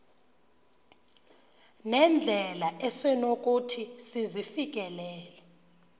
nendlela esonokuthi sizifikelele